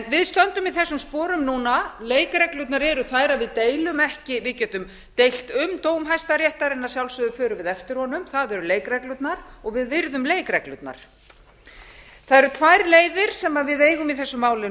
við stöndum í þessum sporum núna leikreglurnar eru þær að við deilum ekki við getum deilt um dóm hæstaréttar en að sjálfsögðu förum við eftir honum það eru leikreglurnar og við virðum leikreglurnar það eru tvær leiðir sem við eigum í þessu máli